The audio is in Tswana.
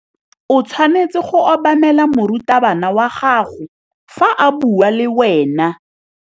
O tshwanetse go obamela morutabana wa gago fa a bua le wena.